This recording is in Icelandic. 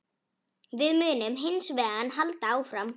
Við munum hins vegar halda áfram